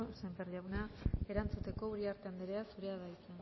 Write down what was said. sémper jauna erantzuteko uriarte anderea zurea da hitza